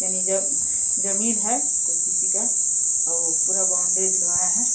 यानि ज जमीन है। कोई किसी का और पूरा बॉउंड्री दिलवाया है।